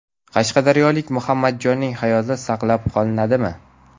Qashqadaryolik Muhammadjonning hayoti saqlab qolinadimi?